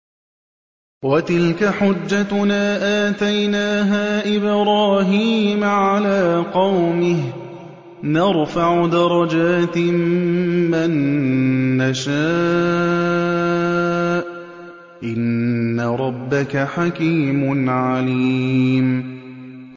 وَتِلْكَ حُجَّتُنَا آتَيْنَاهَا إِبْرَاهِيمَ عَلَىٰ قَوْمِهِ ۚ نَرْفَعُ دَرَجَاتٍ مَّن نَّشَاءُ ۗ إِنَّ رَبَّكَ حَكِيمٌ عَلِيمٌ